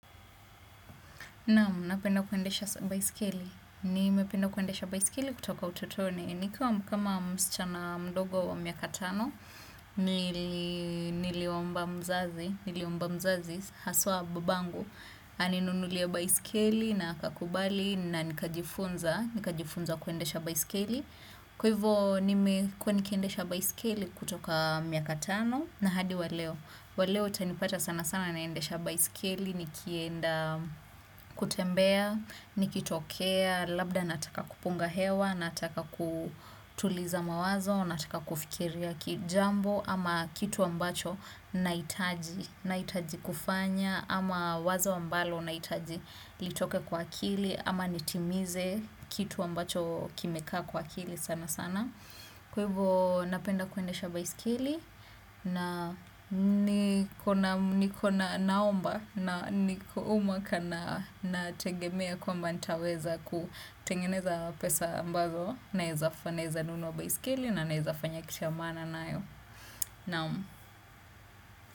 Naam, napenda kuendesha baiskeli. Nimependa kuendesha baiskeli kutoka utotoni. Nikiwa kama msichana mdogo wa miaka tano, niliomba mzazi, haswa babangu. Aninunulie baiskeli na akakubali na nikajifunza kuendesha baiskeli. Kwa hivyo, nimekuwa nikiendesha baiskeli kutoka miaka tano na hadi waleo. Waleo utanipata sana sana naendesha baiskeli, nikienda kutembea, nikitokea, labda nataka kupunga hewa, nataka kutuliza mawazo, nataka kufikiria kijambo ama kitu ambacho nahitaji, nahitaji kufanya ama wazo ambalo nahitaji litoke kwa akili ama nitimize kitu ambacho kimekaa kwa akili sana sana. Kwa hivo napenda kuendesha baiskeli na niko na naomba na huu mwaka nategemea kwamba nitaweza kutengeneza pesa ambazo naeza nunua baiskeli na naezafanya kitu ya maana nayo naam.